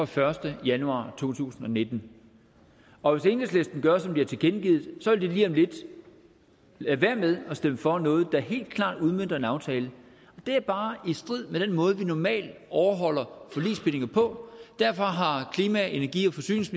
første januar to tusind og nitten og hvis enhedslisten gør som de har tilkendegivet vil de lige om lidt lade være med at stemme for noget der helt klart udmønter en aftale det er bare i strid med den måde vi normalt overholder forligsbindinger på og derfor har energi forsynings